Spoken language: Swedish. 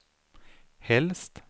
helst